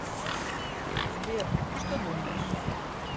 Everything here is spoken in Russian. сбер что думаешь